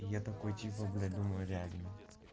я такой типа блять думаю реально